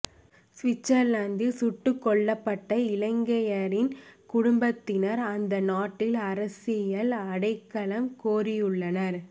சுவிட்சர்லாந்தில் சுட்டுக்கொல்லப்பட்ட இலங்கையரின் குடும்பத்தினர் அந்த நாட்டில் அரசியல் அடைக்கலம் கோரியுள்ளனர்